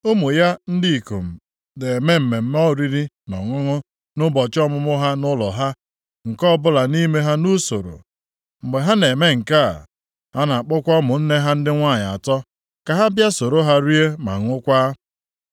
Ụmụ ya ndị ikom na-eme mmemme oriri na ọṅụṅụ nʼụbọchị ọmụmụ ha nʼụlọ ha, nke ọbụla nʼime ya nʼusoro. Mgbe ha na-eme nke a, ha na-akpọkwa ụmụnne ha ndị nwanyị atọ ka ha bịa soro ha rie ma ṅụkwaa.